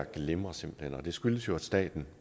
glimrer simpelt hen og det skyldes jo at staten